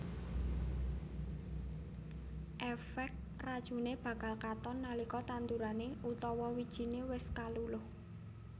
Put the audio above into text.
Efek racune bakal katon nalika tandurane utawa wijine wis kaluluh